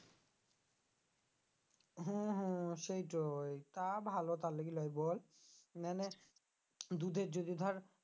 হ্যাঁ হ্যাঁ সেইটোই তা ভালো তার লিগে লই বল নাইলে দুধের যদি তোর